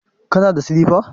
Kana da silifa?